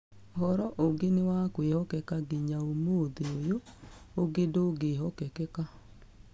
Ũhoro ũngĩ nĩ wa kwĩhokeka ginya ũmũthĩ ũyũ, ũngĩ ndũngĩhokeka.